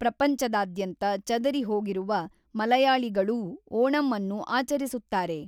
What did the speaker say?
ಪ್ರಪಂಚದಾದ್ಯಂತ ಚದರಿಹೋಗಿರುವ ಮಲಯಾಳಿಗಳೂ ಓಣಂಅನ್ನು ಆಚರಿಸುತ್ತಾರೆ.